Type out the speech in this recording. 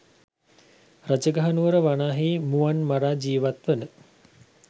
රජගහනුවර වනාහි මුවන් මරා ජීවත්වන